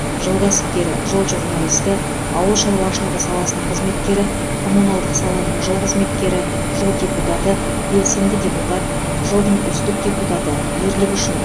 жыл кәсіпкері жыл журналисті ауыл шаруашылығы саласының қызметкері коммуналдық саланың жыл қызметкері жыл депутаты белсенді депутат жылдың үздік депутаты ерлігі үшін